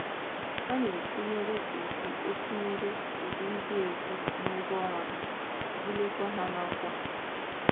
A na - etinyere ụdị etinyere ụdị ndị a ego n’ụgwọ ọnwa ha, buliekwa ha n’ọkwá um.